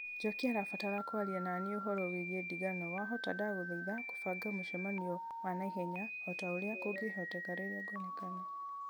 njoki arabatara kwaria naniĩ ũhoro wĩgiĩ ndigano wahota ndagũthaitha kũbanga mũcemanio wa na ihenya o ta ũrĩa kũngĩhoteka rĩrĩa ngwonekana